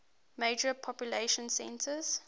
major population centers